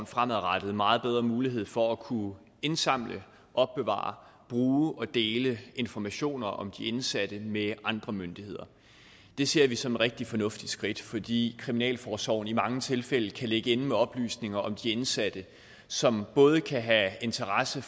fremadrettet meget bedre mulighed for at kunne indsamle opbevare bruge og dele informationer om de indsatte med andre myndigheder det ser vi som et rigtig fornuftigt skridt fordi kriminalforsorgen i mange tilfælde kan ligge inde med oplysninger om de indsatte som både kan have interesse